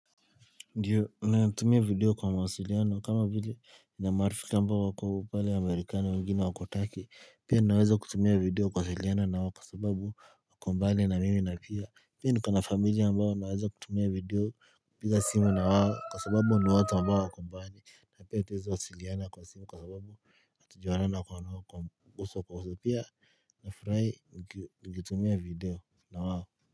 Ndiyo nayatumia video kwa mawasiliano kama vile na marifiki ambao wako pale Amerikani wengine wako Turkey pia naweza kutumia video kuwasiliana nao kwa sababu wako mbali na mimi na pia pia niko na familia ambao naweza kutumia video kupiga simu na wako kwa sababu ni watu ambao wako mbali na pia hatuwezi wasiliana kwa simu kwa sababu hatujaonana nao kwa uso kwa uso pia nafurahi nikitumia video na wao.